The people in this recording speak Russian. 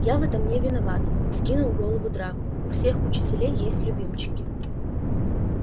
я в этом не виноват вскинул голову драко у всех учителей есть любимчики